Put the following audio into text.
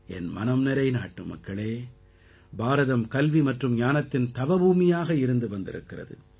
என் மனம் நிறை நாட்டுமக்களே பாரதம் கல்வி மற்றும் ஞானத்தின் தவபூமியாக இருந்து வந்திருக்கிறது